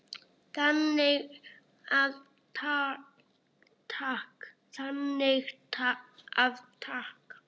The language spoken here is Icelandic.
Þannig að takk.